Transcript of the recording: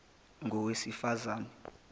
ngowesifazane